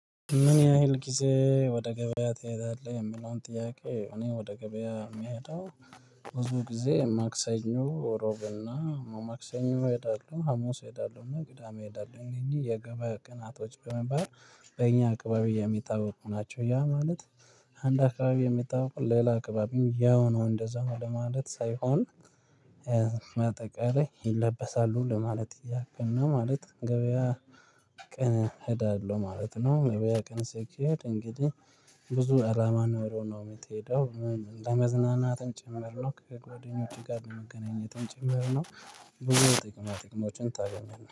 ምን ያህል ጊዜ ወደ ገበያ ትሄዳለህ? የሚለውን ጥያቄ እኔ ወደ ገበያ የምሄደው ብዙ ጊዜ ማክሰኞ እሮብና ማክሰኞ እሄዳለሁ ሀሙስ እሄዳለሁ እና ቅዳሜ እሄዳለሁ እነዚህ የገበያ ቀናቶች በመባል በእኛ አካባቢ የሚታወቁ ናቸው። ያ ማለት አንድ አካባቢ የሚታወቁ ሌላ አካባቢ ያው ነው እንደዛው ነው ለማለት ሳይሆን። ባጠቃላይ ይለበሳሉ ለማለት ያክል ነው ማለት ገበያ ቀን እሄዳለሁ ማለት ነው። ገበያ ቀን ስኬድ እንግዲህ ብዙ አላማ ኖሮ ነው የምትሄደው ለመዝናናትም ጭምር ነው ከጓደኞቼ ጋር ለመገናኘቱም ጭምር ነው። ብዙ ጥቅማ ጥቅሞችን ታገኛለህ